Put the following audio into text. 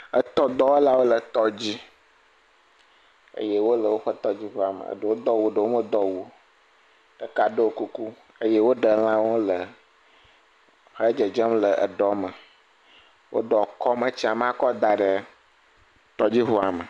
Etɔdɔwɔlawo le tɔ dzi eye wo le woƒe tɔdziŋua me eɖewo do awu eɖewo medo awu o. Ɖeka ɖo kuku eye wo ɖe elãwo le xe dzedzem le eɖɔ me. Wo ɖɔ kɔm etsia me akɔ da ɖe tɔdziɔua me.